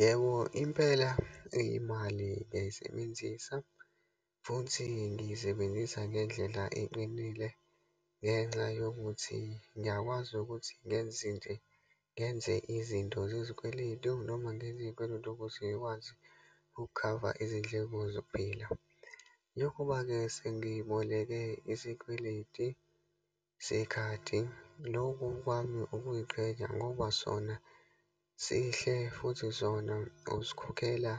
Yebo, impela imali ngiyayisebenzisa futhi ngiyisebenzisa ngendlela eqinile ngenxa yokuthi ngiyakwazi ukuthi ngenze nje, ngenze izinto zezikweletu, noma ngenze izikweletu ukuze ngikwazi ukukhava izindleko zokuphila. Lokhuba-ke sengiboleke isikweleti sekhadi, loku kwami ukuyiqhenya ngoba sona sihle, futhi sona usikhokhela